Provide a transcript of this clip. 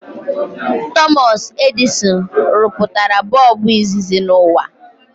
Thomas Edison rụpụtara bọọbụ izizi n'ụwa